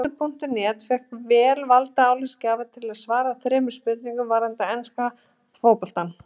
Fótbolti.net fékk vel valda álitsgjafa til að svara þremur spurningum varðandi enska boltann.